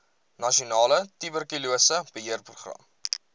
nasionale tuberkulose beheerprogram